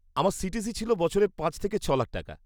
আমার সিটিসি ছিল বছরে পাঁচ থেকে ছ'লাখ টাকা।